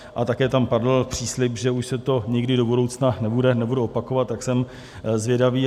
A také tam padl příslib, že už se to nikdy do budoucna nebude opakovat, tak jsem zvědavý.